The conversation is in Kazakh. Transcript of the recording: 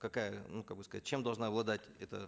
какая ну как бы сказать чем должна обладать эта